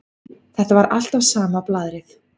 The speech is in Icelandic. Þetta var alltaf sama blaðrið.